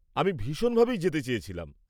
আমি ভীষণভাবেই যেতে চেয়েছিলাম।